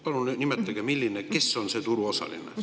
Palun nimetage, kes on see turuosaline.